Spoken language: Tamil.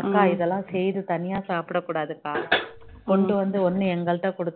அக்கா இதெல்லாம் செய்து தனியா சாப்பிட கூடாது அக்கா கொண்டு வந்து ஒண்ணு எங்ககிட்ட கொடுக்கணும்